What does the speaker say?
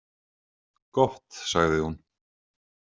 Gott, sagði hún.